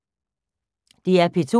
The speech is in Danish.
DR P2